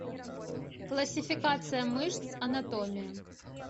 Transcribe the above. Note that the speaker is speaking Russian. классификация мышц анатомия